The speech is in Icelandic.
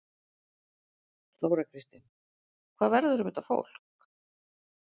Þóra Kristín: Hvað verður um þetta fólk?